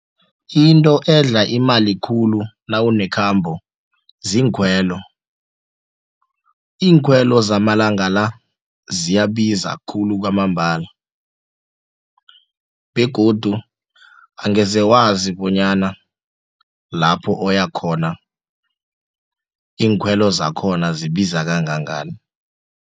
Into edla imali khulu nawunekhambo ziinkhwelo, iinkhwelo zamalanga la ziyabiza khulu kwamambala begodu angeze wazi bonyana lapho oyakhona iinkhwelo zakhona zibiza kangangani.